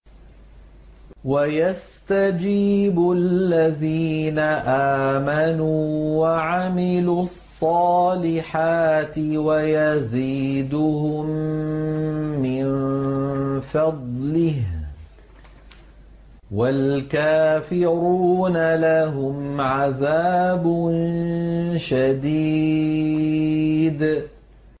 وَيَسْتَجِيبُ الَّذِينَ آمَنُوا وَعَمِلُوا الصَّالِحَاتِ وَيَزِيدُهُم مِّن فَضْلِهِ ۚ وَالْكَافِرُونَ لَهُمْ عَذَابٌ شَدِيدٌ